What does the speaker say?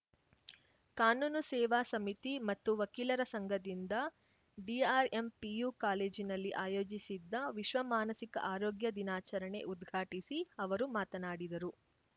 ಕಾನೂನು ಸೇವಾ ಸಮಿತಿ ಮತ್ತು ವಕೀಲರ ಸಂಘದಿಂದ ಡಿಆರ್‌ಎಂ ಪಿಯು ಕಾಲೇಜಿನಲ್ಲಿ ಆಯೋಜಿಸಿದ್ದ ವಿಶ್ವ ಮಾನಸಿಕ ಆರೋಗ್ಯ ದಿನಾಚರಣೆ ಉದ್ಘಾಟಿಸಿ ಅವರು ಮಾತನಾಡಿದರು